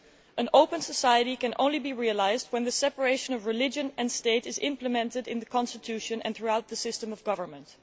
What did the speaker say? An open society can only be realised when the separation of religion and state is implemented in the constitution and throughout the system of government.